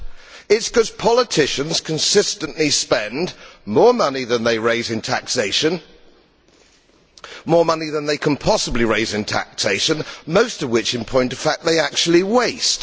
It is because politicians consistently spend more money than they raise in taxation more money than they can possibly raise in taxation most of which, in point of fact, they actually waste.